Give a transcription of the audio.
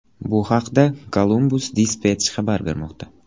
Bu haqda Columbus Dispatch xabar bermoqda .